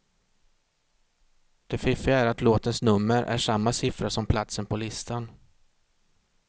Det fiffiga är att låtens nummer är samma siffra som platsen på listan.